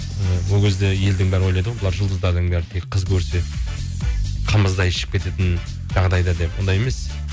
і ол кезде елдің бәрі ойлайды ғой бұлар жұлдыздардың бәрі тек қыз көрсе қымыздай ішіп кететін жағдайда деп ондай емес